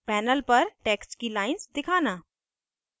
* panel पर text की lines दिखाना